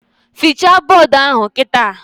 Fichaa bọdụ ahụ kịta!